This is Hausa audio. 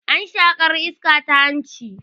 Ana shaƙar iska ta hanci